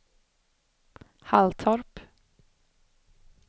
Halltorp